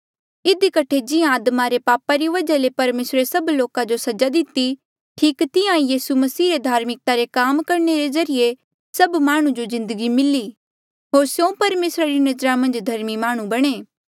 इधी कठे जिहां आदमा रे पापा री वजहा ले परमेसरे सभ लोका जो सजा दिति ठीक तिहां ईं यीसू मसीह रे धार्मिकता रे काम करणे रे ज्रीए सभ माह्णुं जो जिन्दगी मिली होर स्यों परमेसरा री नजरा मन्झ धर्मी माह्णुं बणे